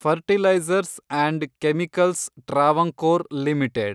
fertilizers and chemicals Travancore limited